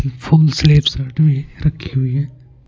Phone स्लप्स रखे है।